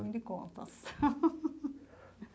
Ruim de contas.